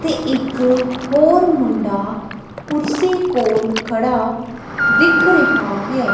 ਤੇ ਇੱਕ ਹੋਰ ਮੁੰਡਾ ਕੁਰਸੀ ਕੋਲ ਖੜਾ ਦਿਖ ਰਿਹਾ ਹੈ।